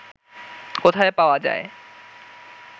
কোথায় পাওয়া যায়